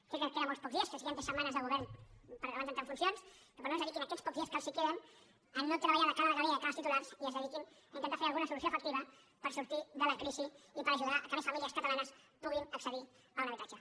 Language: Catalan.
sé que queden molt pocs dies els queden tres setmanes de govern abans d’entrar en funcions però no es dediquin aquests pocs dies que els queden a treballar de cara a la galeria i de cara als titulars i dediquinse a intentar fer alguna solució efectiva per sortir de la crisi i per ajudar que més famílies catalanes puguin accedir a un habitatge